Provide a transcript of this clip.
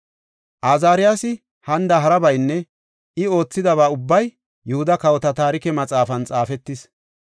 Azaariyasi hanida harabaynne I oothidaba ubbay Yihuda Kawota Taarike Maxaafan xaafetis.